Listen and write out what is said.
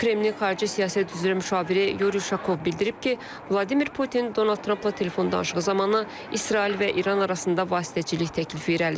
Kreml Xarici siyasət üzrə müşaviri Yuri Şakov bildirib ki, Vladimir Putin Donald Trampla telefon danışığı zamanı İsrail və İran arasında vasitəçilik təklifi irəli sürüb.